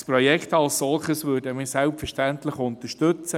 Das Projekt als solches würden wir selbstverständlich unterstützen.